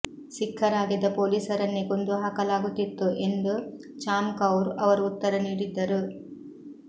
ಸಿಖ್ಖರಾಗಿದ್ದ ಪೊಲೀಸರನ್ನೇ ಕೊಂದುಹಾಕಲಾಗುತ್ತಿತ್ತು ಎಂದು ಚಾಮ್ ಕೌರ್ ಅವರು ಉತ್ತರ ನೀಡಿದ್ದರು